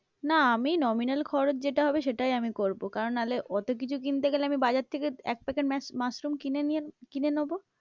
না আমি nominal খরচ যেটা হবে সেটাই আমি করবো কারণ নাহলে অতো কিছু কিনতে গেলে আমি বাজার থেকে এক packet মাশরুম কিনে নোবো।